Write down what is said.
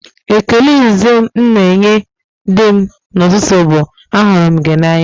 Ekele izizi m na-enye di m n'ụtụtụ bụ, "ahụrụ m gị n'anya"